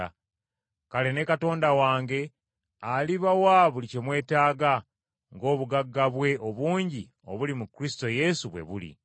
Kale ne Katonda wange alibawa buli kye mwetaaga ng’obugagga bwe obungi obuli mu Kristo Yesu bwe buli.